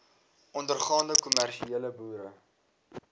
ondergaande kommersiële boere